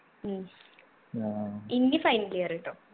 ഉം ഇനി final year ട്ടോ